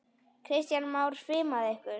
Kristján Már: Svimaði ykkur?